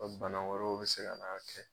Ko bana wɛrɛw bɛ se ka na'a kɛ.